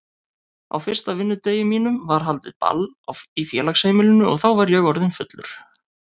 Á fyrsta vinnudegi mínum var haldið ball í félagsheimilinu og þá var ég orðinn fullur.